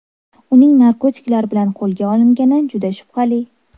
Uning narkotiklar bilan qo‘lga olingani juda shubhali.